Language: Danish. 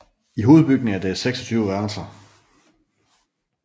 I hovedbygningen er det 26 værelser